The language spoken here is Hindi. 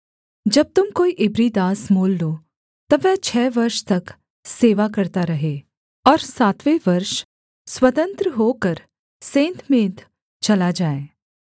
जब तुम कोई इब्री दास मोल लो तब वह छः वर्ष तक सेवा करता रहे और सातवें वर्ष स्वतंत्र होकर सेंतमेंत चला जाए